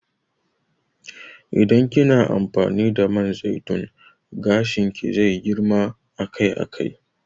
Idan kina amfani da man zaitun gashin ki zai na girma akai akai